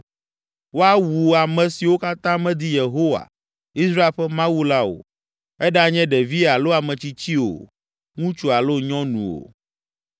Woawu ame siwo katã medi Yehowa, Israel ƒe Mawu la o; eɖanye ɖevi alo ametsitsi o, ŋutsu alo nyɔnu o.